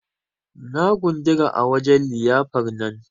Na gundura a wajen liyyafar nan.